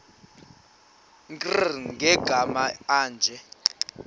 nkr kumagama anje